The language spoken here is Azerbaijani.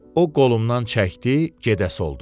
O qolumdan çəkdi, gedəsi oldum.